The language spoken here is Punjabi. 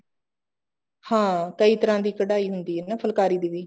ਹਾਂ ਕਈ ਤਰ੍ਹਾਂ ਦੀ ਕਢਾਈ ਹੁੰਦੀ ਆ ਨਾ ਫੁਲਕਾਰੀ ਦੀ ਵੀ